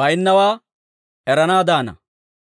baynnaawaa eranaadaana.